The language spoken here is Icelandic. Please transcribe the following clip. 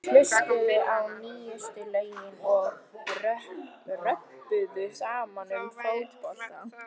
Þeir hlustuðu á nýjustu lögin og röbbuðu saman um fótbolta.